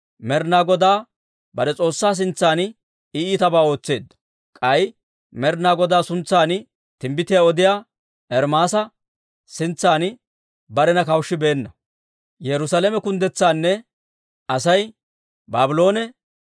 Med'inaa Godaa bare S'oossaa sintsan I iitabaa ootseedda; k'ay Med'inaa Godaa suntsan timbbitiyaa odiyaa Ermaasa sintsan barena kawushshibeenna.